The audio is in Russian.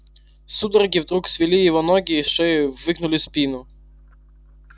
судороги вдруг свели его ноги и шею и выгнули спину